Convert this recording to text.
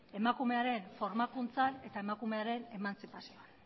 emakumearen formakuntzan eta emakumearen emantzipazioan